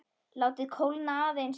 Látið kólna aðeins.